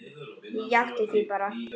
Ég játti því bara.